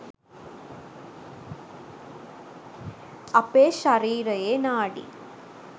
අපේ ශරීරයේ නාඩි